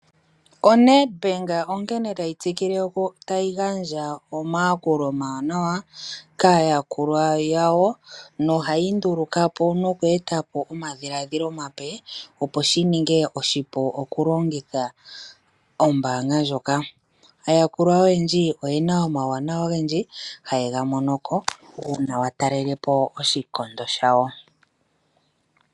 ONetbank onkene tayi tsikike noku gandja omayakulo omawanawa kaayakulwa yawo, nohayi nduluka po nuku eta po omadhiladhilo omape opo shininge oshipu kolongitha ombaanga ndjoka. Aayakulwa oyendji oyena omauwanawa ogendji haye ga mono ko, uuna watalele po oshilyokondo shawo.